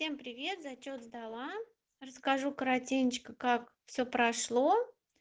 всем привет зачёт сдала расскажу коротенечко как все прошло